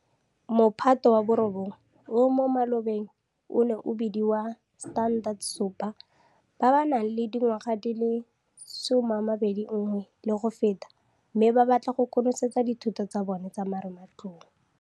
Mophato wa bo 9, o mo malobeng o neng o bediwa Standard 7, ba ba nang le dingwaga di le 21 le go feta, mme ba batla go konosetsa dithuto tsa bona tsa marematlou.